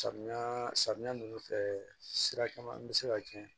Samiya samiya nunnu fɛ sira caman be se ka cɛn